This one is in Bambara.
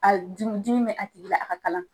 A dimi dimi bɛ a tigi la a ka kalan.